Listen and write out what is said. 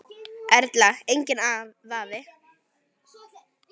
Erla: Enginn vafi?